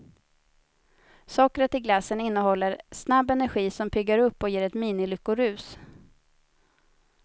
Sockret i glassen innehåller snabb energi som piggar upp och ger ett minilyckorus.